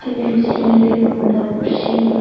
ni sil degong bor bor sil.